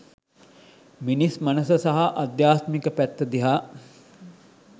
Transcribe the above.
මිනිස් මනස සහ අධ්‍යාත්මික පැත්ත දිහා